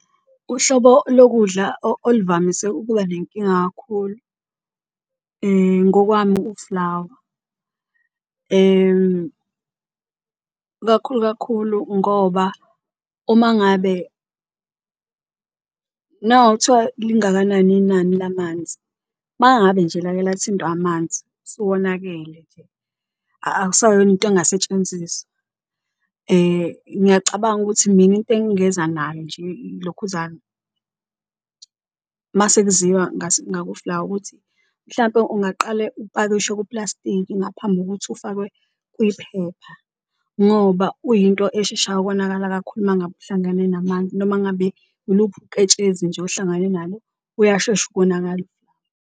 Uhlobo lokudla oluvamise ukuba nenkinga kakhulu ngokwami ufulawa ikakhulu kakhulu ngoba uma ngabe lingakanani inani lamanzi mangabe nje lake lathintwa amanzi usuwonakele, nje awusayona into engasetshenziswa. Ngiyacabanga ukuthi mina into engingeza nayo nje ilokhuzane uma sekuziwa ngakufulawa ukuthi mhlawumpe ungaqale ukupakishwe kuplastiki ngaphambi kokuthi ufakwe kuyiphepha ngoba uyinto esheshayo ukonakala kakhulu uma ngabe uhlangane namanzi. Noma ngabe uluphi uketshezi nje ohlangane nalo, uyashesha ukonakala ufulawa.